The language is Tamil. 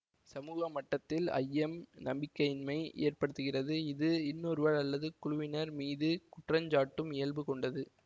சமூக மட்டத்தில் ஐயம் நம்பிக்கையின்மையை ஏற்படுத்துகிறது இது இன்னொருவர் அல்லது குழுவினர் மீது குற்றஞ்சாட்டும் இயல்பு கொண்டது